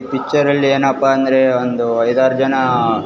ಪಿಚ್ಚರಲ್ಲಿ ಏನಪ್ಪ ಅಂದ್ರೆ ಒಂದು ಐದಾರ್ ಜನ --